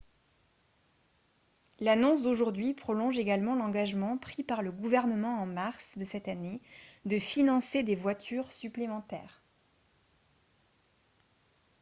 l'annonce d'aujourd'hui prolonge également l'engagement pris par le gouvernement en mars de cette année de financer des voitures supplémentaires